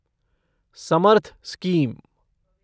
Samarth scheme